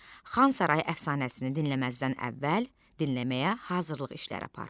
Xan sarayı əfsanəsini dinləməzdən əvvəl dinləməyə hazırlıq işləri apar.